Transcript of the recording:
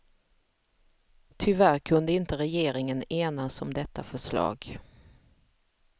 Tyvärr kunde inte regeringen enas om detta förslag.